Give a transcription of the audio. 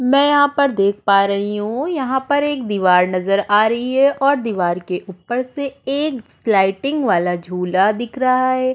मैं यहाँ पर देख पा रही हूँ यहाँ पर एक दीवार नजर आ रही है और दीवार के ऊपर से एक लाइटिंग वाला झूला दिख रहा है।